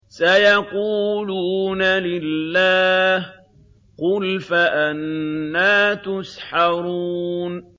سَيَقُولُونَ لِلَّهِ ۚ قُلْ فَأَنَّىٰ تُسْحَرُونَ